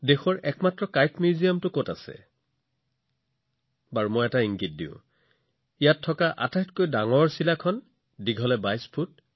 দেশৰ একমাত্ৰ চিলা সংগ্ৰহালয়টো কত আছে মই আপোনালোকক এটা ইংগিত দিওঁ যে ইয়াত ৰখা আটাইতকৈ ডাঙৰ চিলাখনৰ আকাৰ হৈছে ২২ গুণ ১৬ ফুট